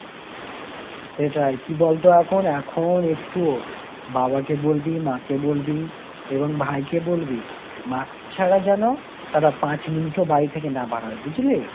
সেটাই, কি বলতো এখন, এখন একটুও বাবাকে বলবি, মাকে বলবি এবং ভাইকে বলবি mask ছাড়া যেন তারা ৫ minute ও বাড়ি থেকে না বার হয়। বুঝলি?